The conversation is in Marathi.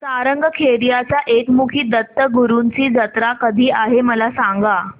सारंगखेड्याच्या एकमुखी दत्तगुरूंची जत्रा कधी आहे मला सांगा